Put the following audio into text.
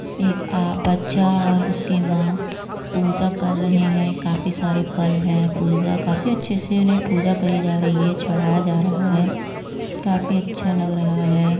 एक आ बच्चा और उसकी माँ पूजा कर रहे हैं काफी सारे फल हैं। पूजा काफी अच्छे से उन्हे पूजा करी जा रही है चड़ाया जा रहा है काफी अच्छा लग रहा है |